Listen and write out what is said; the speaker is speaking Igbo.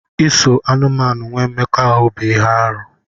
Iso anụmanụ nwee mmekọahụ bụ ihe arụ.